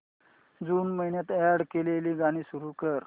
जून महिन्यात अॅड केलेली गाणी सुरू कर